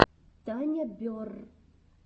таня берр